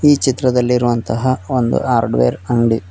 ಈ ಚಿತ್ರದಲ್ಲಿ ಇರುವಂತಹ ಒಂದು ಹಾರ್ಡ್ವೇರ್ ಅಂಗ್ಡಿ.